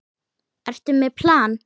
Ertu með plan?